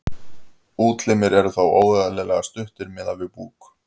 útlimir eru þá óeðlilega stuttir miðað við búk